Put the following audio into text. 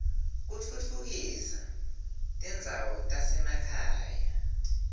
kutfutfukisa tindzawo tasema khaya